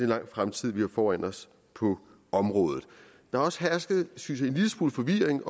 lang fremtid vi har foran os på området der har også hersket synes jeg en lille smule forvirring